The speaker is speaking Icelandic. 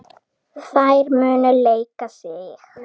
Þær munu leika sig.